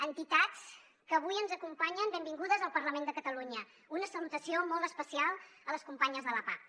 entitats que avui ens acompanyen benvingudes al parlament de catalunya i una salutació molt especial a les companyes de la pah